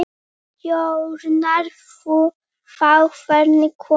Stjórnar þú þá hverjir koma?